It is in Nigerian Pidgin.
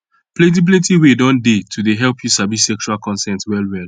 plenty plenty way don dey to help you sabi sexual consent well well